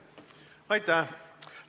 Aitäh!